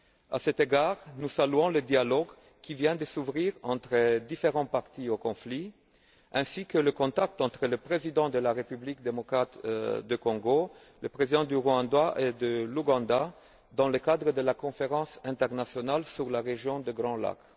À cet égard, nous saluons le dialogue qui vient de s'ouvrir entre différentes parties au conflit, ainsi que les contacts qui ont eu lieu entre le président de la République démocratique du Congo, le président du Rwanda et celui de l'Ouganda, dans le cadre de la Conférence internationale sur la région des Grands Lacs.